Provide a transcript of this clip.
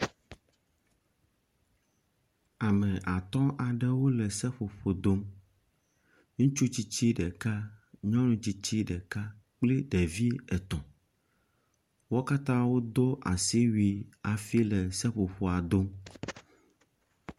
Ame atɔ̃ aɖewo le seƒoƒo dom. Ŋutsu tsitsi ɖeka, nyɔnu tsitsi ɖeka kple ɖevi etɔ̃. Wo katã wodo asiwui hafi le seƒoƒoa dom.